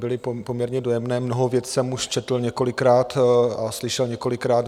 Byly poměrně dojemné, mnoho věcí jsem už četl několikrát a slyšel několikrát.